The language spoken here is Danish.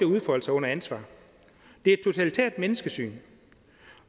udfolde sig under ansvar det er et totalitært menneskesyn